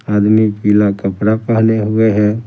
आदमी पीला कपड़ा पहने हुए हैं ।